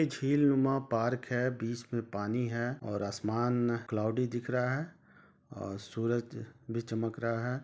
झील रुममा पार्क है बीच में पानी है और आसमान क्लॉउडी दिख रहा है और सूर्य भी चमक रा हा है।